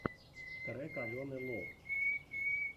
трек алены лов